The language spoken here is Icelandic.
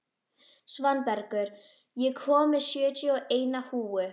Svanbergur, ég kom með sjötíu og eina húfur!